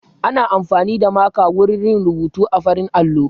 Ana amfani da maka wurin yin rubuta a farin allo